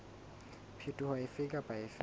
phetoho efe kapa efe e